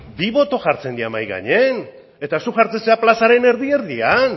bi boto jartzen dira mahai gainean eta zuk jartzen zara plazaren erdi erdian